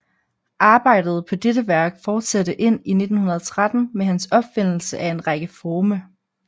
Arbejdet på dettte værk fortsatte ind i 1913 med hans opfindelse af en række forme